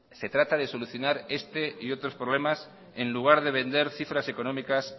se trata de solucionar este y otros problemas en lugar de vender cifras económicas